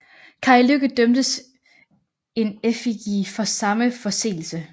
Kai Lykke dømtes In effigie for samme forseelse